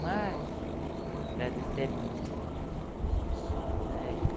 Mas, agradeceram muito.